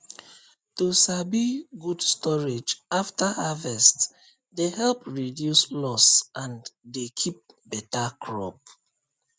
to sabi good storage after harvest dey help reduce loss and dey keep beta crop